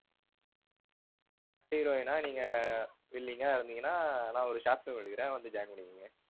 heroine ஆ நீங்க willing ஆ இருந்தீங்கன்னா நான் ஒரு short film எடுக்குறேன் வந்து join பண்ணிக்கோங்க.